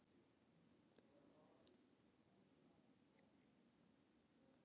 Hvernig er stemningin hjá Njarðvík?